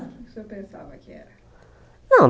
O que o senhor pensava que era? Não